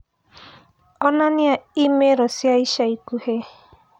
onania i-mīrū cia ica ikuhĩ